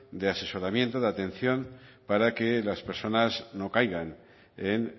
de asesoramiento de atención para que las personas no caigan en